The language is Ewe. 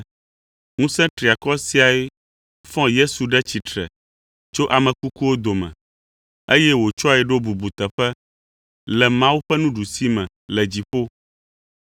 Ŋusẽ triakɔ siae fɔ Kristo ɖe tsitre tso ame kukuwo dome, eye wòtsɔe ɖo bubuteƒe le Mawu ƒe nuɖusime le dziƒo.